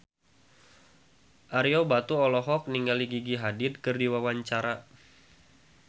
Ario Batu olohok ningali Gigi Hadid keur diwawancara